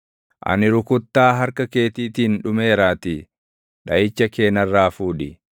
Ani rukuttaa harka keetiitiin dhumeeraatii; dhaʼicha kee narraa fuudhi.